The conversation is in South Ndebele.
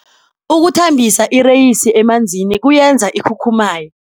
Ukuthambisa ireyisi emanzini kuyenza ikhukhumaye.